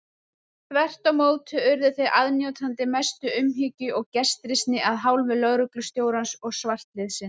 Þvert á móti urðu þeir aðnjótandi mestu umhyggju og gestrisni af hálfu lögreglustjórans og svartliðsins.